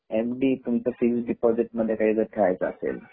तुमच सेविंग काही दिपोझीट ठेवायचे असेल